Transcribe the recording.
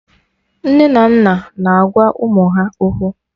Nne na nna na agwa ụmụ ha okwu